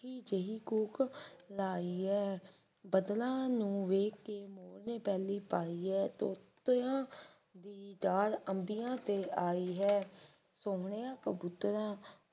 ਮਿੱਠੀ ਜਹੀ ਕੂਕ ਲਾਈ ਐ ਬਦਲਾਂ ਨੂੰ ਵੇਖ ਕੇ ਮੋਰ ਨੇ ਪੈਲੀਂ ਪਾਈਏ ਤੋਤਿਆਂ ਦੀ ਡਾਰ ਅੰਬੀਆਂ ਤੇ ਆਈ ਹੈ ਸੋਹਣਿਆਂ ਕਬੂਤਰਾਂ